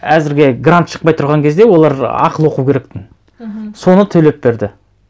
әзірге грант шықпай тұрған кезде олар ақылы оқу керектін мхм соны төлеп берді